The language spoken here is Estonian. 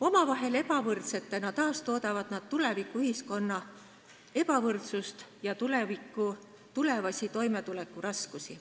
Omavahel ebavõrdsetena taastoodavad nad tulevikuühiskonna ebavõrdsust ja tulevasi toimetulekuraskusi.